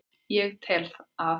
Ég tel að